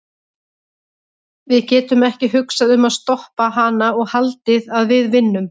Við getum ekki hugsað um að stoppa hana og haldið að við vinnum.